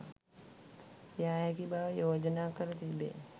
යා හැකි බව යෝජනා කර තිබේ.